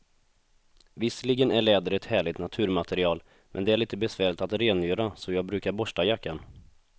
Visserligen är läder ett härligt naturmaterial, men det är lite besvärligt att rengöra, så jag brukar borsta jackan.